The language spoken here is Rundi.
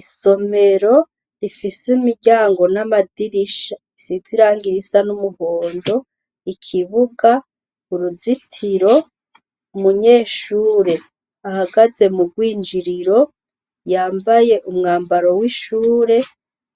Isomero, rifise imiryango n' amafirisha bisize irangi risa n' umuhondo, ikibuga, uruzitiro, umunyeshure ahagaze mu rwinjiriro, yambaye umwambaro w' ishure,